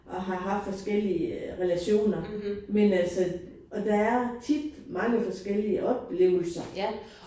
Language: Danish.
Og har haft forskellige relationer men altså og der er tit mange forskellige oplevelser